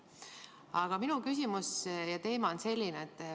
Aga minu küsimus on selline.